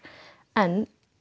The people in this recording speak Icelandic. en